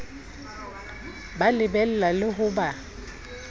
ba lebella le ho ba